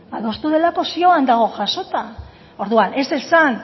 adostu delako zioan dago jasota orduan ez esan